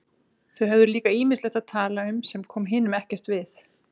Þau höfðu líka ýmislegt að tala um sem kom hinum ekkert við.